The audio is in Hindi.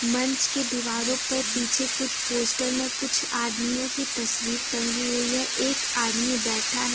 मंच की दीवारों पर पीछे कुछ पोस्टर में कुछ आदमियों की तस्वीर टंगी हुई है एक आदमी बैठा है।